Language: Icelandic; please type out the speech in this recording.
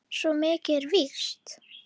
Svo mikið er víst